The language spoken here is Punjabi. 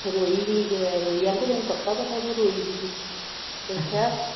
ਕਹਿੰਦਾ ਉਹ ਰੋਈ ਸੀ ਕਹਿੰਦਾ ਤੈਨੂੰ ਪੱਕਾ ਪਤਾ ਕੀ ਉਹ ਰੋਈ ਸੀ